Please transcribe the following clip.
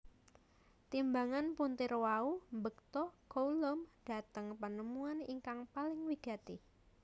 Timbangan puntir wau mbekta Coulomb dhateng penemuan ingkang paling wigati